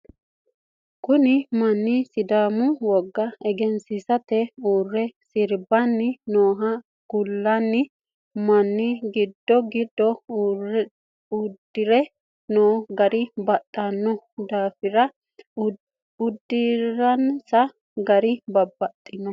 Kunni manni sidaamu woga egensiita uure serbanni noonna kunni manni gido gido udire noo gara baxino daafiri udiransa gari dibaxisano.